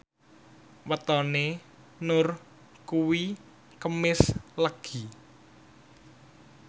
wetone Nur kuwi Kemis Legi